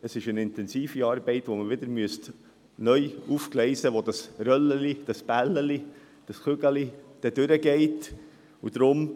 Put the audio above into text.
Es ist eine intensive Arbeit, die man wieder neu aufgleisen müsste, dahingehend, wo das Röllchen, das Bällchen, das Kügelchen durchgehen soll.